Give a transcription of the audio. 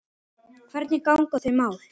Hvernig ganga þau mál?